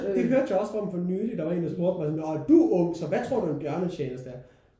Det hørte jeg også om for nylig. Der var en der spurgte mig sådan når men du er ung så hvad tror du en bjørnetjeneste er?